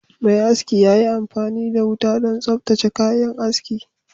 Mai aski ya yi amfani da wuta don tsaftace kayan aski